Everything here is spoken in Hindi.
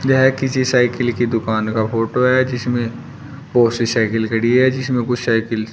यह किसी साइकिल की दुकान का फोटो है जिसमें बहोत सी साइकिल खड़ी है जिसमें कुछ साइकिल